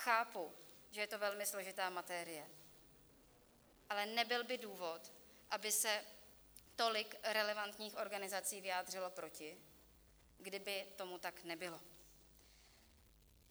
Chápu, že je to velmi složitá materie, ale nebyl by důvod, aby se tolik relevantních organizací vyjádřilo proti, kdyby tomu tak nebylo.